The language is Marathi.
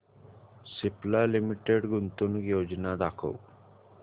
सिप्ला लिमिटेड गुंतवणूक योजना दाखव